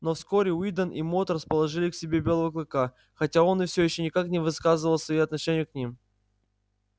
но вскоре уидон и мод расположили к себе белого клыка хотя он все ещё никак не выказывал своею отношения к ним